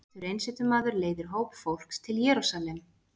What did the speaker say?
Pétur einsetumaður leiðir hóp fólks til Jerúsalem.